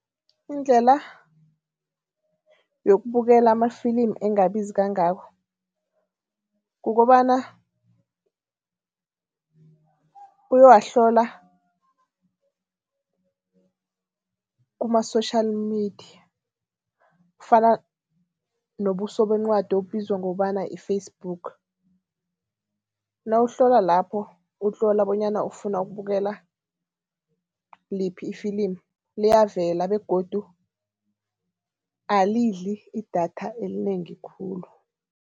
Indlela yokubukela amafilimu engabizi kangako, kukobana uyowahlola kuma-social media, kufana nobuso bencwadi obubizwa ngokobana yi-Facebook. Nawuhlola lapho utlola bonyana ufuna ukubukela liphi ifilimu, liyavela begodu alidli idatha elinengi khulu.